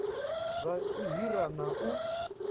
zwa u hira na u